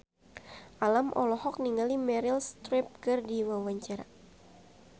Alam olohok ningali Meryl Streep keur diwawancara